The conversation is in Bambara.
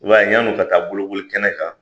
I b'a ye yani u ka taa bolokoli kɛnɛ kan